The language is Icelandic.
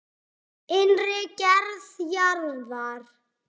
Innri gerð jarðar